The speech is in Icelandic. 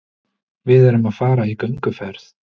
Við erum að fara í gönguferð.